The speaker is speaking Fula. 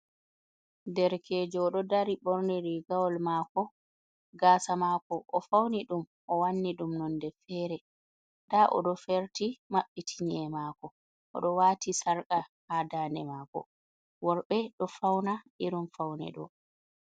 Derkejo oɗo dari borni rigawol mako, gasa mako o fauni ɗum o wanni ɗum nonde fere da o ɗo ferti mabbiti nyemako o ɗo wati sarka ha daɗe mako. Worɓe ɗo fauna irin faune ɗo.